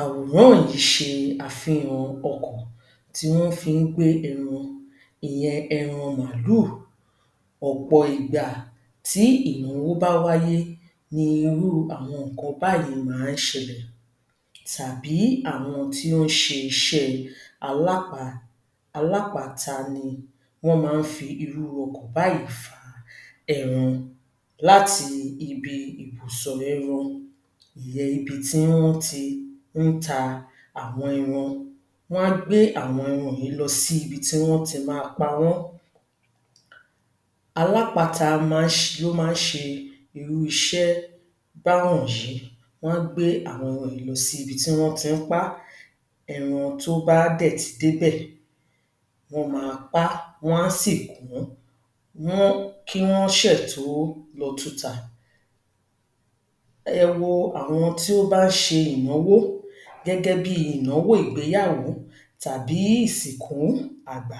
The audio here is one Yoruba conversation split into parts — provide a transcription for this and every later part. Àwòrán yìí ṣe àfihàn ọkọ̀ tí wọ́n fi ń gbé ẹran, ìyẹn ẹran màálù. Ọ̀pọ̀ ìgbà tí ìnáwó bá wáyé ní irú àwọn nǹkan báyìí máa ń ṣẹlẹ̀ tàbí àwọn tí ó ń ṣe iṣẹ́ alápa alápàáta ni wọ́n máa ń fi irú ọkọ̀ báyìí fa ẹran láti ibi ìbùsọ̀ ẹran ìyẹn ibi tí wọ́n ti ń ta àwọn ẹran. Wọ́n á gbé àwọn ẹran yìí lọ sí ibi tí wọ́n ti máa pa wọ́n. Alápàáta máa máa ń ṣe irú iṣẹ́ báwọ̀nyí. Wọ́n á gbé àwọn ohun èlò síbi tí wọ́n ti ń pa á. Ẹran tó bá dẹ̀ ti débẹ̀, wọ́n máa pá, wọ́n á sì kù wọ́n wọ́n kí wọ́n ṣẹ̀ tó lọ tun tà. Ẹ wo àwọn tí ó bá ń ṣe ìnáwó gẹ́gẹ́ bíi ìnáwó ìgbéyàwó tàbí ìsìnkú àgbà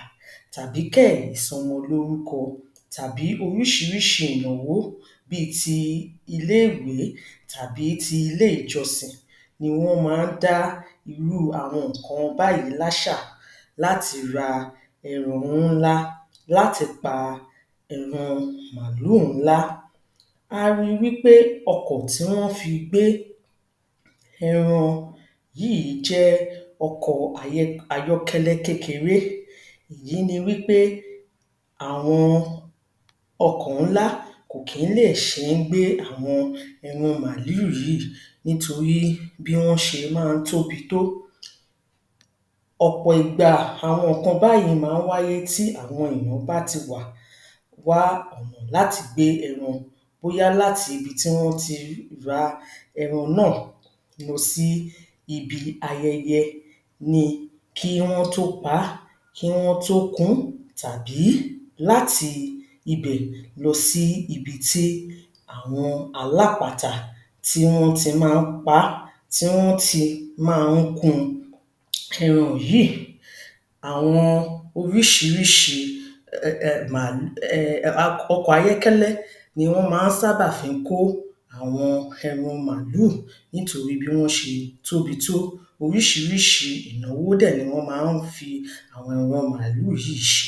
tàbí kẹ̀ ìsọmọlórúkọ tàbí oríṣiríṣi ìnáwó bíi ti ilé-ìwé tàbí ti ilé ìjọsìn ni wọ́n máa ń dá irú àwọn nǹkan báyìí láṣà láti ra ẹ̀ran ńlá láti pa ẹran màálù ńlá. A ri wípé ọkọ̀ tí wọ́n fi gbé ẹran yíìí jẹ́ ọkọ̀ọ ayọ́kẹ́lẹ́ kékeré. Èyí ni wípé àwọn ọkọ̀ ńlá kò kí ń lè ṣe ń gbé àwọn ẹran màálù yìíì nítorí bí wọ́n ṣe máa ń tóbi tó. Ọ̀pọ̀ ìgbà àwọn nǹkan báyìí máa ń wáyé tí àwọn èèyàn bá ti wà wá láti gbé ẹran bóyá láti ibi tí wọ́n ti ra ẹran náà lọ sí ibi ayẹyẹ ni kí wọ́n tó paá kí wọ́n tó ku-ún tàbí láti ibẹ̀ lọ sí ibi tí àwọn alápatà tí wọ́n ti máa ń pa á tí wọ́n ti máa ń kun ẹran yìí. Àwọn oríṣiríṣi um màálù um ọkọ̀ ayọ́kẹ́lẹ́ ni wọ́n máa ń sábà fi ń kó àwọn ẹran màálù nítorí bí wọ́n ṣe tóbi tó. Oríṣiríṣi ìnáwó dẹ̀ ni wọ́n máa ń fi àwọn màálù yìí ṣe.